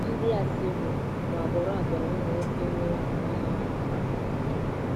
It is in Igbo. Ndị Assyria bụ agbụrụ agbụrụ ụmụ nwoke nwere afụ ọnụ mara mma nke ukwuu.